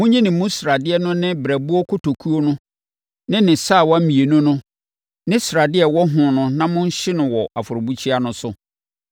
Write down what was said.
Monyi ne mu sradeɛ no ne ne berɛboɔ kotokuo no ne ne sawa mmienu no ne sradeɛ a ɛwɔ ho no na monhye no wɔ afɔrebukyia no so.